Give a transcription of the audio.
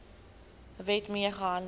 wet mee gehandel